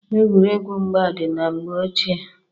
Egwuregwu mgba dị na mgbe ochie.